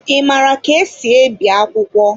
Ị maara ka esi ebi akwụkwọ?